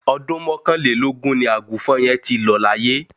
Ọdún mọ́kànlélógún ni Àgùnfọn yẹn ti lọ laye